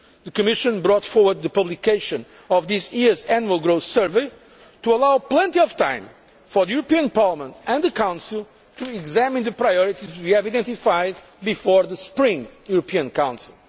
The Commission brought forward the publication of this year's Annual Growth Survey to allow plenty of time for the European Parliament and the Council to examine the priorities we have identified before the spring European Council.